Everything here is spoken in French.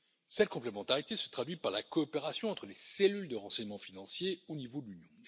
Cette complémentarité se traduit par la coopération entre les cellules de renseignement financier au niveau de l'Union.